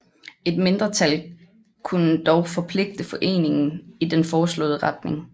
Et mindretal kunne dog forpligte foreningen i den foreslåede retning